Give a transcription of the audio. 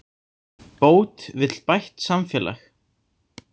Bót vill bætt samfélag